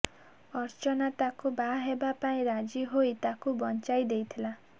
ଅର୍ଚ୍ଚନା ତାକୁ ବାହା ହେବା ପାଇଁ ରାଜି ହୋଇ ତାକୁ ବଞ୍ଚାଇ ଦେଇଥିଲା